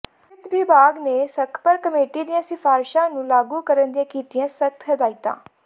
ਵਿੱਤ ਵਿਭਾਗ ਨੇ ਸੱਖਧਰ ਕਮੇਟੀ ਦੀਆਂ ਸ਼ਿਫਾਰਿਸਾਂ ਨੂੰ ਲਾਗੂ ਕਰਨ ਦੀਆਂ ਕੀਤੀਆਂ ਸਖਤ ਹਦਾਇਤਾਂ